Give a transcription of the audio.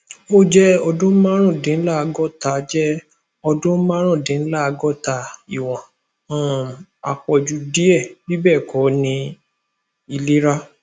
o jẹ ọdun marundinlagota jẹ ọdun marundinlagota iwọn um apọju diẹ bibẹẹkọ ni ilera